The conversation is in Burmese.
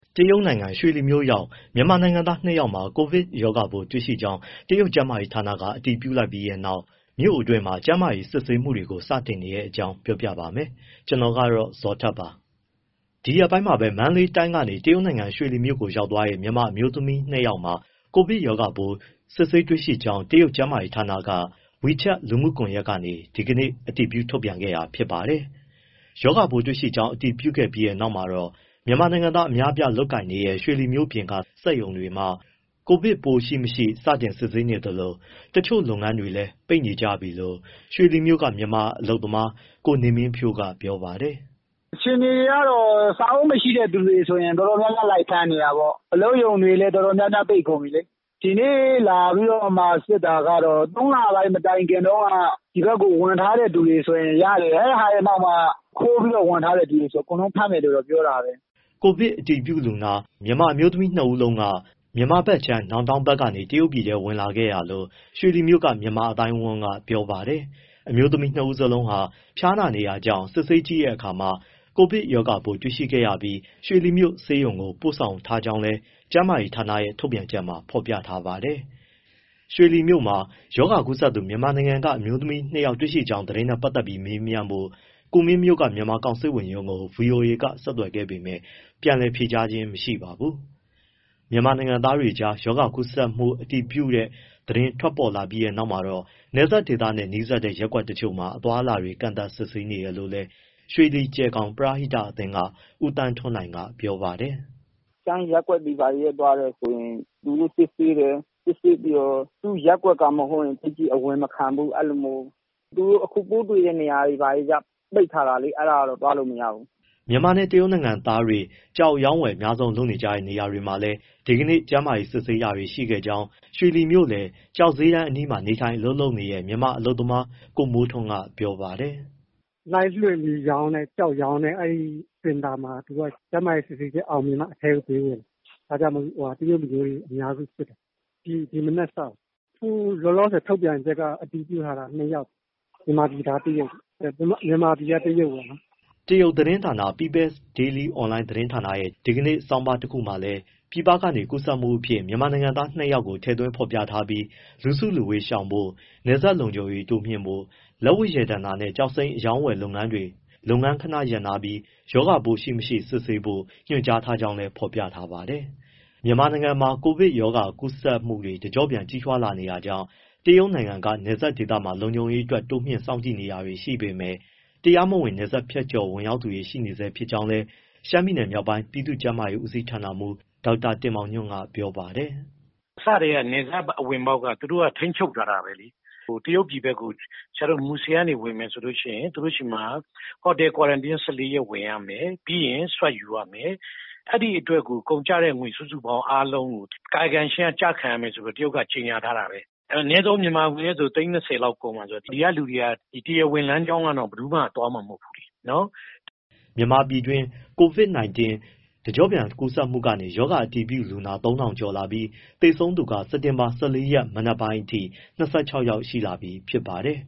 တရုတ်နိုင်ငံ ရွှေလီမြို့ရောက် မြန်မာနိုင်ငံသား ၂ ယောက်မှာ ကိုဗစ်ရောဂါပိုးတွေ့ရှိကြောင်း တရုတ်ကျန်းမာရေးဌာနက အတည်ပြုလိုက်ပြီးနောက် မြို့တွင်းမှာ ကျန်းမာရေးစစ်ဆေးမှုတွေ စတင်နေတဲ့အကြောင်း ကိုဇော်ထက် ပြောပြပါမယ်။ ဒီရက်ပိုင်းမှာပဲ မန္တလေးတိုင်းကနေ တရုတ်နိုင်ငံရွှေလီမြို့ကို ရောက်သွားတဲ့ မြန်မာအမျိုးသမီး နှစ်ယောက်မှာ ကိုဗစ်ရောဂါပိုး စစ်ဆေးတွေ့ရှိကြောင်း တရုတ်ကျန်းမာရေးဌာနက WeChat လူမှုကွန်ရက်ကနေ ဒီကနေ့ အတည်ပြု ထုတ်ပြန်ခဲ့တာ ဖြစ်ပါတယ်။ ရောဂါပိုး တွေ့ရှိကြောင်း အတည်ပြုခဲ့ပြီးနောက်မှာတော့ မြန်မာနိုင်ငံသားအများအပြား အလုပ်လုပ်နေကြတဲ့ ရွှေလီမြို့ပြင်က စက်ရုံတွေမှာ ဗိုင်းရပ်စ်ပိုး ရှိ၊မရှိ စတင်စစ်ဆေးနေသလို တချို့လုပ်ငန်းတွေလည်း ပိတ်နေကြပြီလို့ ရွှေလီမြို့က မြန်မာအလုပ်သမား ကိုနေမင်းဖြိုးက ပြောပါတယ်။ “ အခြေအနေကတော့ စာအုပ်မရှိတဲ့သူဆိုရင်တော့ တော်တော်များများ လိုက်ဖမ်းနေတာပေါ့။ အလုပ်ရုံတွေလည်း တော်တော်များများ ပိတ်ကုန်ပြီလေ။ ဒီနေ့ လာပြီးတော့မှ စစ်တာကတော့ ၃လပိုင်း မတိုင်ခင်တုန်းက ဒီဘက်ကို ဝင်ထားတဲ့သူတွေဆိုရင် ရတယ်။ အဲဒါရဲ့နောက်မှာ ခိုးပြီးဝင်ထားတဲ့ သူတွေဆိုရင် အကုန်လုံးဖမ်းမယ်လို့ ပြောတာပဲ။” ကိုဗစ်အတည်ပြုလူနာ အမျိုးသမီးနှစ်ဦးစလုံးက မြန်မာဘက်ခြမ်း နောင်တောင်း ဘက်ကနေ တရုတ်ပြည်ထဲ ဝင်ခဲ့တာလို့ ရွှေလီမြို့ မြန်မာအသိုင်းအဝန်းက ပြောပါတယ်။ အမျိုးသမီး ၂ ဦးစလုံးဟာ ဖျားနာနေတာကြောင့် စစ်ဆေးကြည့်ရာမှာ ကိုဗစ်ရောဂါပိုး တွေ့ရှိခဲ့ရပြီး ရွှေလီမြို့ဆေးရုံကို ပို့ဆောင်ထားကြောင်းလည်း ကျန်းမာရေးဌာနရဲ့ ထုတ်ပြန်ချက်မှာ ဖော်ပြထားပါတယ်။ ရွှေလီမြို့မှာ ရောဂါကူးစက်သူ မြန်မာနိုင်ငံက အမျိုးသမီး ၂ ယောက် တွေ့ရှိကြောင်း သတင်းနဲ့ ပတ်သက်လို့ မေးမြန်းဖို့ ကူမင်းမြို့က မြန်မာကောင်စစ်ဝန်ရုံးကို ဗွီအိုအေက ဆက်သွယ်ခဲ့ပေမဲ့ ဖုန်းပြန်လည်ဖြေကြားခြင်း မရှိပါဘူး။ မြန်မာနိုင်ငံသားတွေကြား ရောဂါကူးစက်မှု အတည်ပြုတဲ့သတင်း ထွက်လာပြီးနောက်မှာတော့ နယ်စပ်ဒေသနဲ့ နီးစပ်တဲ့ ရပ်ကွက်တချို့မှာ အသွားအလာတွေ ကန့်သတ်စစ်ဆေးနေတယ်လို့လည်း ရွှေလီ- ကျယ်ဂေါင် ပရဟိတအသင်းက ဦးသန်းထွန်းနိုင် ပြောပါတယ်။ “ ရှမ်းရပ်ကွက်တွေ ဘာတွေထဲ သွားမယ်ဆိုရင် သူတို့စစ်ဆေးတယ်၊ စစ်ဆေးပြီးတော့ သူ့ရပ်ကွက်က မဟုတ်ရင် သိပ်ပြီးအဝင်မခံဘူး အဲဒီလိုမျိုး။ သူတို့အခု ပိုးတွေ့တဲ့ နေရာတွေကျ ပိတ်ထားတာလေ အဲဒါတွေ သွားလို့မရဘူး။” မြန်မာနဲ့ တရုတ်နိုင်ငံသားတွေ ကျောက်အရောင်းအဝယ် အများဆုံး လုပ်ကြတဲ့နေရာတွေမှာလည်း ဒီကနေ့ ကျန်းမာရေးစစ်ဆေးတာတွေ ရှိခဲ့ကြောင်း ရွှေလီမြို့လယ် ကျောက်ဈေးတန်းအနီးမှာ နေထိုင် အလုပ်လုပ်နေတဲ့ မြန်မာအလုပ်သမား ကိုမိုးထွန်းက ပြောပါတယ်။ “ Live လွှင့်ပြီးရောင်းတဲ့ ကျောက်ရောင်းတဲ့ စင်တာမှာ ကျန်းမာရေးစစ်ဆေးချက်အောင်မြင်မှ အထဲကိုပေးဝင်တယ်၊ ဒါကြောင့်မို့ တရုတ်လူမျိုးတွေ အများစုစစ်တယ်၊ ဒီမနက်စတာပေါ့။ အခုလောလောဆယ် ထုတ်ပြန်ထားတာ အတည်ပြုထားတာ ၂ယောက်ပေါ့ မြန်မာပြည်သား တရုတ်၊ မြန်မာပြည်က တရုတ်ပေါ့နော်။” တရုတ်သတင်းဌာန People’s Daily Online သတင်းဌာနရဲ့ ဒီကနေ့ ဆောင်းပါး တခုမှာလည်း ပြည်ပကနေ ကူးစက်မှုအဖြစ် မြန်မာနိုင်ငံသား ၂ ယောက်ကို ထည့်သွင်း ဖော်ပြထားပြီး လူစုလူဝေးရှောင်ဖို့ နယ်စပ်လုံခြုံရေးတိုးမြှင့်ဖို့၊ လက်ဝတ်ရတနာနဲ့ ကျောက်စိမ်းအရောင်းလုပ်ငန်းတွေ လုပ်ငန်းခဏရပ်ထားပြီး ရောဂါပိုး ရှိမရှိ စစ်ဆေးဖို့ ညွှန်ကြားထားကြောင်းလည်း ဖော်ပြထားပါတယ်။ မြန်မာနိုင်ငံမှာ ကိုဗစ်ကပ်ရောဂါကူးစက်မှုတွေ တကျော့ပြန် ကြီးထွားလာနေတာကြောင့် တရုတ်နိုင်ငံက နယ်စပ်ဒေသမှာ လုံခြုံရေးအတွက် တိုးမြှင့်စောင့်ကြည့်နေတာတွေ ရှိပေမဲ့ တရားမဝင် နယ်စပ်ဖြတ်ကျော် ဝင်ရောက်သူတွေ ရှိနေဆဲ ဖြစ်ကြောင်းလည်း ရှမ်းပြည်မြောက်ပိုင်း ပြည်သူ့ကျန်းမာရေး ဦးစီးဌာနမှူး ဒေါက်တာတင်မောင်ညွန့်က ပြောပါတယ်။ “ အစကတည်းက နယ်စပ်ဝင်ပေါက်က သူတို့သူတို့က ထိန်းချုပ်ထားတာပဲလေ။ တရုတ်ပြည်ဘက်ကို မူဆယ်ဘက်က ဝင်မယ်ဆိုရင် သူတို့ဆီမှာ hotel quarantine ၁၄ရက် ဝင်ရမယ်၊ ပြီးရင် SWAT ယူရမယ်၊ အဲဒီအတွက်ကို ကုန်ကျတဲ့ငွေ စုစုပေါင်းကို ကာယကံရှင်က ကျခံရမယ်ဆိုပြီး တရုတ်က ကြေညာထားတာပဲ။ အနည်းဆုံး မြန်မာငွေနဲ့ဆို သိန်း ၂၀ လောက် ကုန်မှာဆိုတော့ ဒီကလူတွေက တရားဝင်လမ်းကြောင်းကတော့ ဘယ်သူမှ သွားမှာမဟုတ်ဘူးလေနော်။” မြန်မာပြည်တွင်း COVID-19 တကျော့ပြန်ကူးစက်မှုကနေ ရောဂါအတည်ပြုလူနာ ၃၀၀၀ ကျော်လာပြီး သေဆုံးသူက စက်တင်ဘာ ၁၄ရက် မနက်ပိုင်းအထိ ၂၆ ယောက်ရှိလာပြီ ဖြစ်ပါတယ်